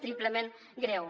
triplement greu